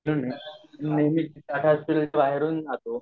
नियमित टाटा हॉस्पिटल कडून